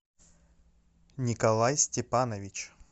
николай степанович